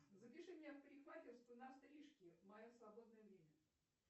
запиши меня в парикмахерскую на стрижки в мое свободное время